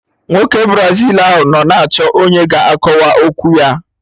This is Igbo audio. Nwoke Brazil ahụ nọ na-achọ ọnyá ga akọwa okwu ya